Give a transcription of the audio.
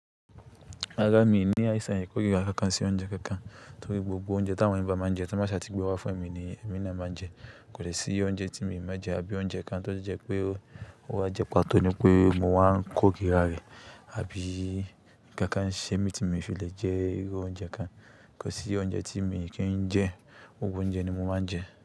Rárá, mi ni àìsàn ìkórira kankan sí oúnjẹ kankan torí gbogbo oúnjẹ tí àwọn ẹyan ba máa ń jẹ tí wọ́n bá ṣà ti gbé wá fún èmi ni èmi naa máa ń jẹ. Kò dè sí oúnjẹ tí mi ò máa jẹ àbí oúnjẹ kan tó jẹ́ pé ó wá jẹpá tóní pé mo wáa ń kórira rẹ̀ àbí kankan ṣe mí tí mi ò fi lè jẹ iru oúnjẹ kan. Kò sí oúnjẹ tí èmi kì í jẹ, gbogbo oúnjẹ ni mo máa ń jẹ.